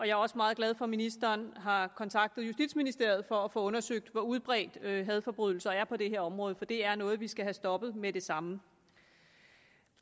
jeg er også meget glad for at ministeren har kontaktet justitsministeriet for at få undersøgt hvor udbredt hadforbrydelser er på det her område for det er noget vi skal have stoppet med det samme